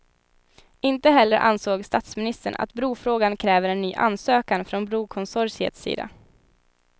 Inte heller ansåg statsministern att brofrågan kräver en ny ansökan från brokonsortiets sida.